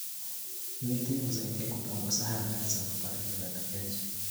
Miti husaidia kupunguza athari za mabadiliko ya tabianchi.